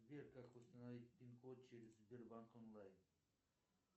сбер как установить пин код через сбербанк онлайн